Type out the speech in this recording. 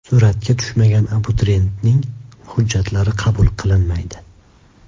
Suratga tushmagan abituriyentning hujjatlari qabul qilinmaydi.